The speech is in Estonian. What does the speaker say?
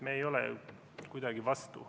Me ei ole kuidagi vastu.